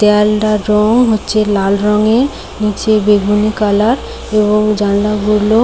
দেয়ালটা রং হচ্ছে লাল রঙের নিচে বেগুনি কালার এবং জানলা গুলো--